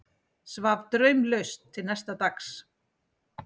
Svaf draumlaust til næsta dags.